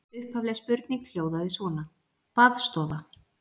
Upphafleg spurning hljóðaði svona: Baðstofa?